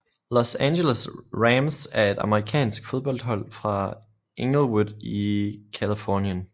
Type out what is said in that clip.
Los Angeles Rams er et amerikansk fodboldhold fra Inglewood i Californien